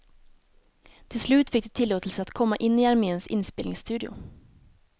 Till slut fick de tillåtelse att komma in i arméns inspelningsstudio.